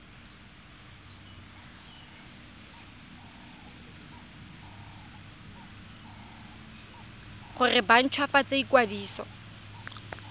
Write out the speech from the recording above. gore ba nt hwafatse ikwadiso